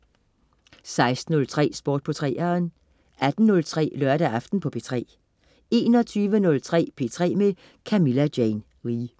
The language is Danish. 16.03 Sport på 3'eren 18.03 Lørdag aften på P3 21.03 P3 med Camilla Jane Lea